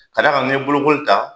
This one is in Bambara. Ka d'a kan ni ye bolokoli ta